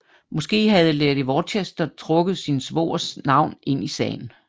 Måske havde lady Worcester trukket sin svogers navn ind i sagen